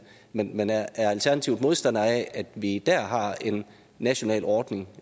men men er alternativet modstandere af at vi dér har en national ordning